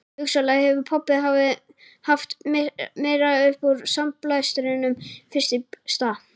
Hugsanlega hefur pabbi haft meira upp úr sandblæstrinum fyrst í stað